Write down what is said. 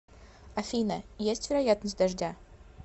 афина есть вероятность дождя